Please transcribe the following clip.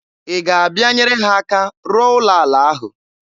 Ị ga-abịa nyere ha aka rụọ ụlọ ala ahụ?